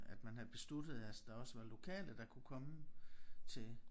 At man havde besluttet at der også var lokale der kunne komme til